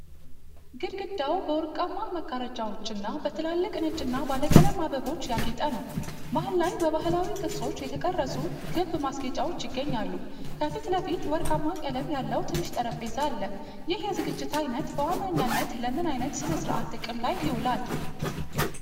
ግድግዳው በወርቃማ መጋረጃዎችና በትላልቅ ነጭና ባለቀለም አበቦች ያጌጠ ነው። መሃል ላይ በባሕላዊ ቅርጾች የተቀረጹ ክብ ማስጌጫዎች ይገኛሉ። ከፊት ለፊት ወርቃማ ቀለም ያለው ትንሽ ጠረጴዛ አለ። ይህ የዝግጅት አይነት በዋነኝነት ለምን ዓይነት ሥነ ሥርዓት ጥቅም ላይ ይውላል?